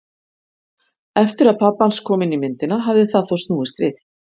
Eftir að pabbi hans kom inn í myndina hafði það þó snúist við.